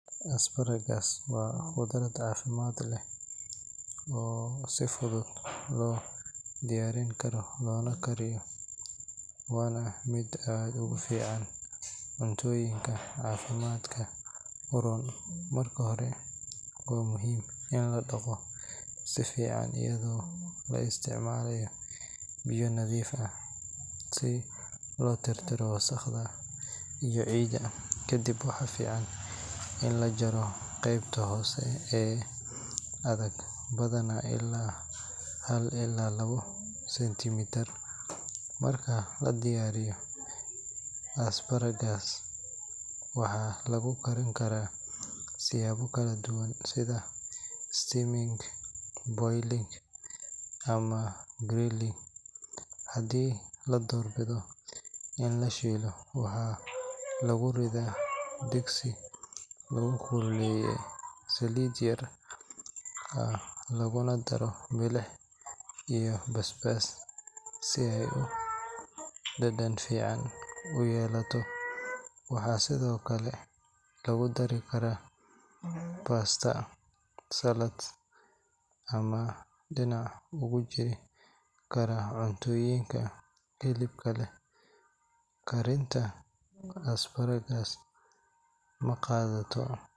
Asparagus waa khudrad caafimaad leh oo si fudud loo diyaarin karo loona kariyo, waana mid aad ugu fiican cuntooyinka caafimaadka u roon. Marka hore, waa muhiim in la dhaqo si fiican iyadoo la isticmaalayo biyo nadiif ah si loo tirtiro wasakhda iyo ciidda. Kadib waxaa fiican in la jaro qaybta hoose ee adag, badanaa ilaa hal ilaa labo senti mitir. Marka la diyaariyo, asparagus waxaa lagu karin karaa siyaabo kala duwan sida steaming, boiling, ama grilling. Haddii la doorbido in la shiilo, waxaa lagu riddaa digsi lagu kululeeyay saliid yar ah, laguna daro milix iyo basbaas si ay dhadhan fiican u yeelato. Waxaa sidoo kale lagu dari karaa pasta, salads, ama dhinac uga jiri kara cuntooyinka hilibka leh. Karinta asparagus ma qaadato .